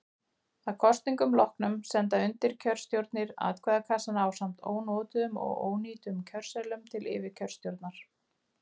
Að kosningum loknum senda undirkjörstjórnir atkvæðakassana ásamt ónotuðum og ónýtum kjörseðlum til yfirkjörstjórnar.